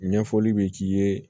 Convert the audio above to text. Ɲɛfɔli be k'i ye